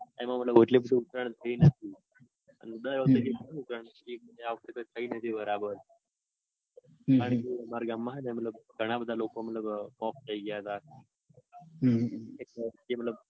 એમાં મતલબ એટલું બધું ના થયું. અને દર વખતે તો થાય પણ આ વખતે ના થઇ બરાબર. કારણકે માર ગામ માં હ ને ઘણા બધા લોકો ઓફ થઇ ગયા તા. હમ